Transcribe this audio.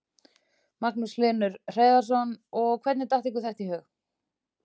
Magnús Hlynur Hreiðarsson: Og hvernig datt ykkur þetta í hug?